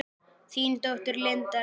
Þín dóttir, Linda Rós.